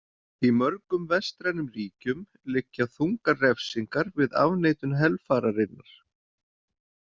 Í mörgum vestrænum ríkjum liggja þungar refsingar við afneitun helfararinnar.